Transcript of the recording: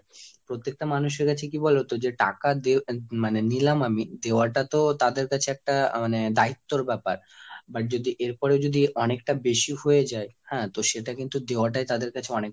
প্রত্যেকটা মানুষের কাছে কি বলতো যে টাকা দে~ মানে নিলাম আমি, দেওয়া টা তো তাদের কাছে একটা মানে দায়িত্ত্বর ব্যাপার। এবার যদি এরপরও যদি অনেকটা বেশি হয়ে যায়, হ্যাঁ তো সেটা কিন্তু দেওয়াটাই তাদের কাছে অনেক।